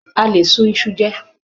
A lè sun iṣu jẹ.